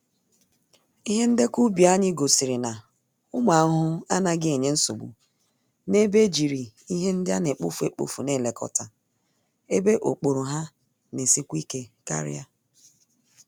Ihe ndekọ ubi anyị gosiri na, ụmụ ahụhụ anaghị enye nsogbu n'ebe ejiri ihe ndị anekpofu-ekpofu n'elekota, ebe okpòrò ha n'esikwa ike karịa